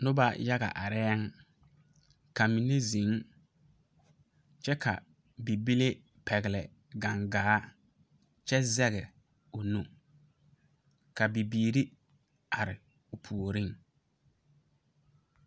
Nuba yaga arẽ ka mene zeng kye ka bibile pɛgli gangaa kye zeg ɔ nu ka bibiiri arẽ ɔ pouring.